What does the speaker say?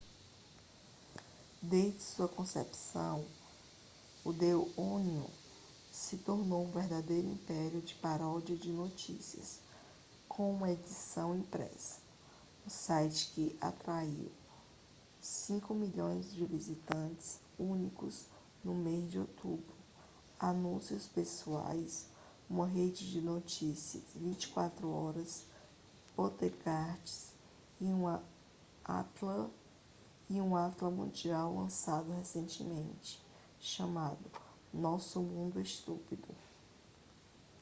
desde sua concepção o the onion se tornou um verdadeiro império de paródias de notícias com uma edição impressa um site que atraiu 5.000.000 visitantes únicos no mês de outubro anúncios pessoais uma rede de notícias 24 horas podcasts e um atlas mundial lançado recentemente chamado nosso mundo estúpido